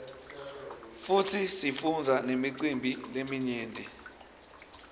futsi sifundza nemicimbi leminyeti